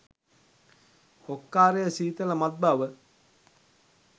ඔක්කාරය සීතල මත් බව